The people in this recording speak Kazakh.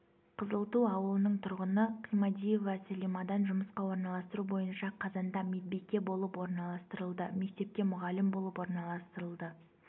қызылту ауылының тұрғыны қимадиева сәлимадан жұмысқа орналастыру бойынша қазанда медбике болып орналастырылды мектепке мұғалім болып орналастырылды